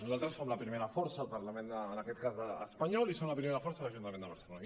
nosaltres som la primera força al parlament en aquest cas espanyol i som la primera força a l’ajuntament de barcelona